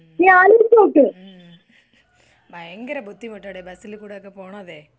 ഉം ഭയങ്കര ബുദ്ധിമുട്ടടി ബസ്സിൽ കൂടെയൊക്കെ പോണതെ.